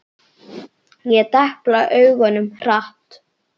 Ég depla augunum hratt.